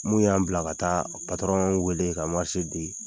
Mun y'an bila ka taa patɔrɔn wele, ka di,